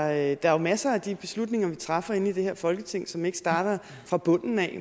er jo masser af de beslutninger vi træffer inde i det her folketing som ikke starter fra bunden af